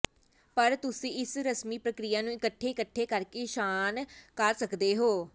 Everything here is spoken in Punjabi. ਪਰ ਤੁਸੀਂ ਇਸ ਰਸਮੀ ਪ੍ਰਕਿਰਿਆ ਨੂੰ ਇਕੱਠੇ ਇਕੱਠੇ ਕਰਕੇ ਇਸ਼ਨਾਨ ਕਰ ਸਕਦੇ ਹੋ